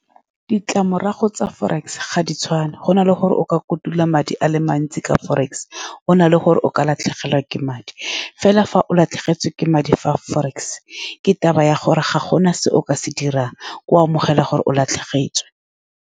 Ditlamorago tsa forex ga di tshwane. Go na le gore o ka kotula madi a le mantsi ka forex, gona le gore o ka latlhegelwa ke madi. Fela, fa o latlhegetswe ke madi fa forex, ke taba ya gore ga gona se o ka se dirang, o amogela gore o latlhegetswe.